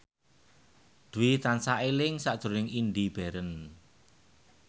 Dwi tansah eling sakjroning Indy Barens